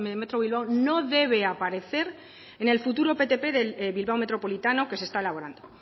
metro bilbao no debe aparecer en el futuro ptp de bilbao metropolitano que se está elaborando